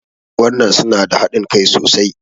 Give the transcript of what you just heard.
Anguwan nan su na da haɗin Kai sosai.